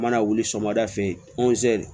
Mana wuli sɔgɔmada fɛ yen